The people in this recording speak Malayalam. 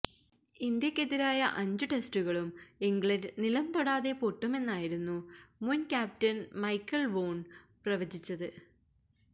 ഇന്ത്യയ്ക്കെതിരായ അഞ്ച് ടെസ്റ്റുകളും ഇംഗ്ലണ്ട് നിലംതൊടാതെ പൊട്ടുമെന്നായിരുന്നു മുന് ക്യാപ്റ്റന് മൈക്കല് വോണ് പ്രവചിച്ചത്